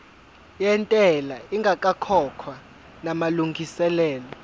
yentela ingakakhokhwa namalungiselo